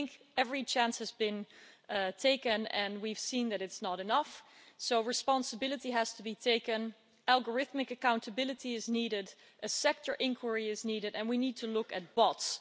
I think every chance has been taken, and we've seen that it's not enough, so responsibility has to be taken, algorithmic accountability is needed, a sector inquiry is needed and we need to look at bots.